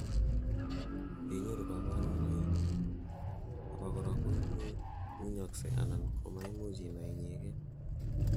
yeinyoru kaborunoi, abakora kowunyoksei anan ko maimuch inai icheket